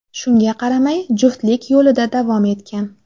Shunga qaramay, juftlik yo‘lida davom etgan.